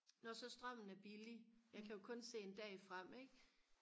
når så strømmen er billig jeg kan jo så kun se en dag frem ikke